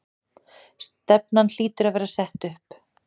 Stefnan hlýtur að vera sett upp?